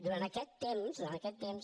durant aquest temps durant aquest temps